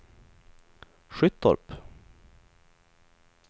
Skyttorp